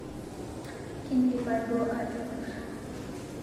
Kindipa duo aatukur